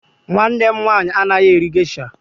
Nwanne m nwaanyị anaghị eri gesha.